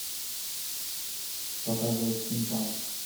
показывай стимпанк